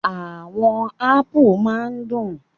Àwọn ápù máa ń dùn.